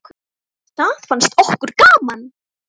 Það fannst okkur gaman.